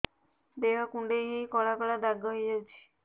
ଦେହ କୁଣ୍ଡେଇ ହେଇ କଳା କଳା ଦାଗ ହେଇଯାଉଛି